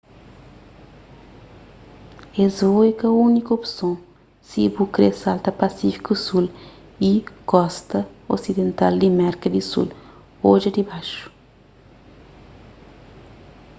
es vôu é ka úniku opson si bu kre salta pasífiku sul y kosta osidental di merka di sul. odja dibaxu